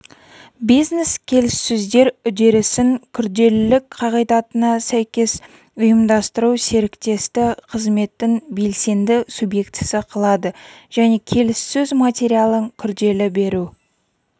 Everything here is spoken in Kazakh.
бизнес-келіссөздер үдерісін күрделілік қағидатына сәйкес ұйымдастыру серіктесті қызметтің белсенді субъектісі қылады және келіссөз материалын күрделі беру